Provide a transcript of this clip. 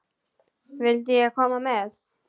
Vildi ég koma með?